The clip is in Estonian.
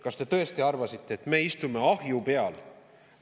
Kas te tõesti arvasite, et me istume ahju peal?